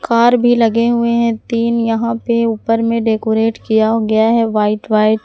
तार भी लगे हुए हैं तीन यहाँ पे ऊपर में डेकोरेट किया गया है व्हाइट व्हाइट ।